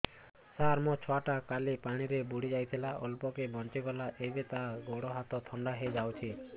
ସାର ମୋ ଛୁଆ ଟା କାଲି ପାଣି ରେ ବୁଡି ଯାଇଥିଲା ଅଳ୍ପ କି ବଞ୍ଚି ଗଲା ଏବେ ତା ଗୋଡ଼ ହାତ ଥଣ୍ଡା ହେଇଯାଉଛି